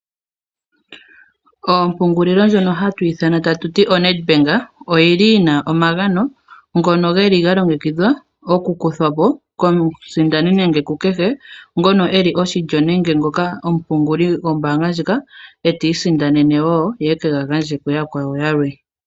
Ompungulilo ndjoka hatu ithana tatuti oNedbank oyili yina omagano ngoka ga longekidhwa okukuthwa po komusindani nenge kukehe ngoka eli oshilyo nenge omupinguli gwombaanga ndjika e tiisindanene wo ye eke ga gandje kuyakwawo yalwe.